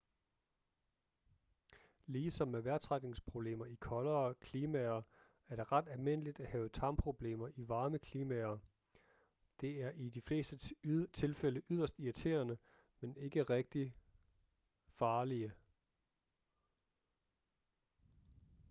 ligesom med vejrtrækningsproblemer i koldere klimaer er det ret almindeligt at have tarmproblemer i varme klimaer de er i de fleste tilfælde yderst irriterende men ikke rigtigt farlige